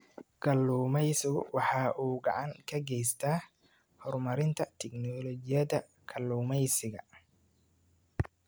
Kalluumaysigu waxa uu gacan ka geystaa horumarinta tignoolajiyada kalluumaysiga.